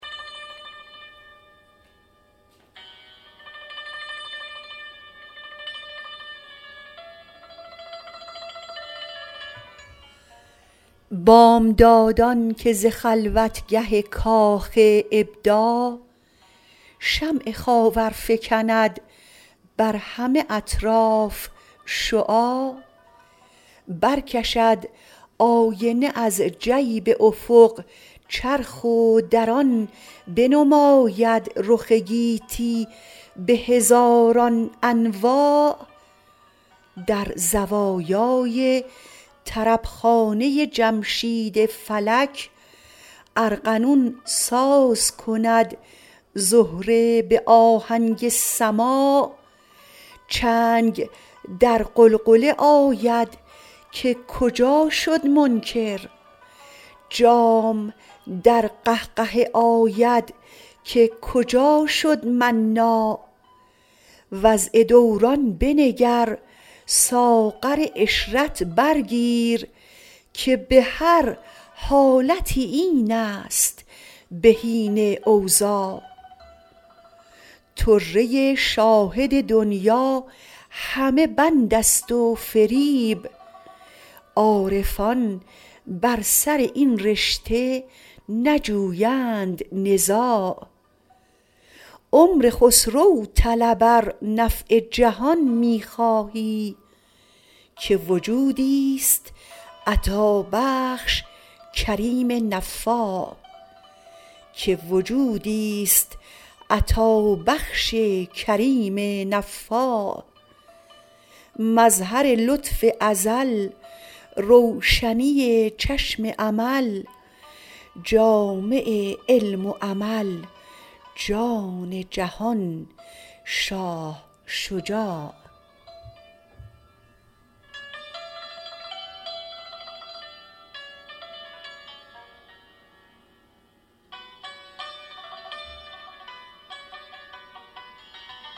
بامدادان که ز خلوتگه کاخ ابداع شمع خاور فکند بر همه اطراف شعاع برکشد آینه از جیب افق چرخ و در آن بنماید رخ گیتی به هزاران انواع در زوایای طربخانه جمشید فلک ارغنون ساز کند زهره به آهنگ سماع چنگ در غلغله آید که کجا شد منکر جام در قهقهه آید که کجا شد مناع وضع دوران بنگر ساغر عشرت بر گیر که به هر حالتی این است بهین اوضاع طره شاهد دنیی همه بند است و فریب عارفان بر سر این رشته نجویند نزاع عمر خسرو طلب ار نفع جهان می خواهی که وجودیست عطابخش کریم نفاع مظهر لطف ازل روشنی چشم امل جامع علم و عمل جان جهان شاه شجاع